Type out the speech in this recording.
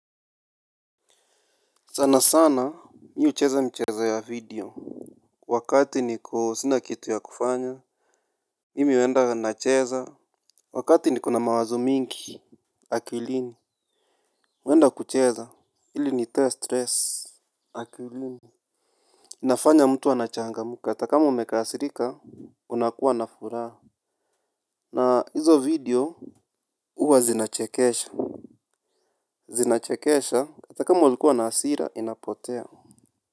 Sana sana mi ucheza mchezo ya video. Wakati niko sina kitu ya kufanya. Mimi uenda nacheza. Wakati niko na mawazo mingi akilini huenda kucheza hili nitoe stress. Akilini inafanya mtu anachangamuka hata kama umekasirika unakuwa na furaha. Na hizo video uwa zinachekesha hata kama ulikuwa na asira inapotea.